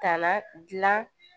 Ka na dilan